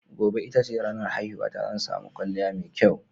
Gobe ita ce ranar haihuwata, zan sami kwalliya mai kyau.